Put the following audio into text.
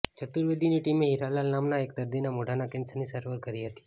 ચતુર્વેદીની ટીમે હીરાલાલ નામના એક દર્દીના મોઢાના કેન્સરની સારવાર કરી હતી